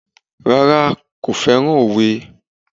Rárá, kò féràn òwe.